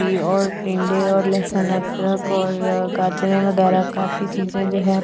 और टिंडे और लहसुन अदरक और गाजरे वगैरा काफी चीज जो है पड़ी हुई है और।